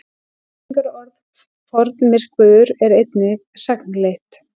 Lýsingarorðið formyrkvaður er einnig sagnleitt.